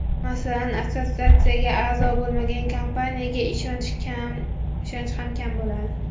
Masalan, assotsiatsiyaga a’zo bo‘lmagan kompaniyaga ishonch ham kam bo‘ladi.